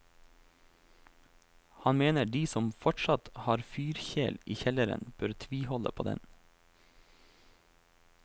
Han mener de som fortsatt har fyrkjel i kjelleren bør tviholde på den.